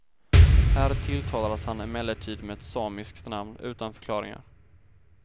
Här tilltalades han emellertid med ett samiskt namn, utan förklaringar.